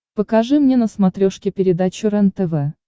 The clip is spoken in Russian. покажи мне на смотрешке передачу рентв